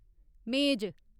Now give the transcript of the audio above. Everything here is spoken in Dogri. मेज